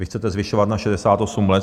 Vy chcete zvyšovat na 68 let.